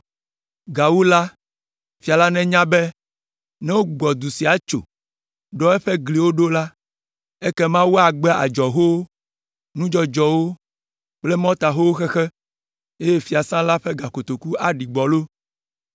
Gawu la, fia la nenya be ne wogbugbɔ du sia tso, ɖɔ eƒe gliwo ɖo la, ekema woagbe adzɔhowo, nudzɔdzɔwo kple mɔtahowo xexe, eye fiasã la ƒe gakotoku aɖi gbɔlo.